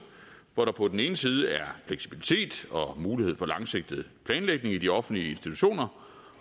hvor der på den ene side er fleksibilitet og mulighed for langsigtet planlægning i de offentlige institutioner